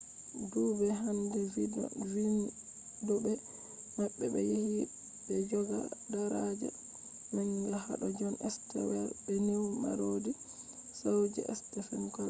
dudbe hander vindobe mabbe be yahi be joga daraja manga hado jon stewart be news parody show je stephen colbert